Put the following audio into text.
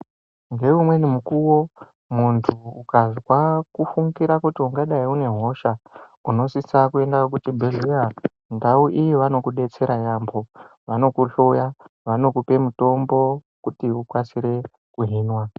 Ngeumweni mukuwo muntu ukazwa kufungira kuti ungadai uine hosha, unosisa kuenda kuchibhedhleya. Ndau iyi vanokudetsera yaambo. Vanokuhloya, vanokupe mutombo kuti ukasire kuhinwa.